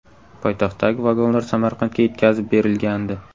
Poytaxtdagi vagonlar Samarqandga yetkazib berilgandi .